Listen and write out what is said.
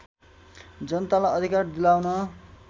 जनतालाई अधिकार दिलाउन